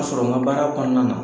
ka sɔrɔ nk baara kɔnɔna na.